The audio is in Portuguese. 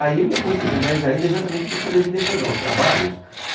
Aí eu me aproximei mais ainda exatamente para poder direcionar os trabalhos.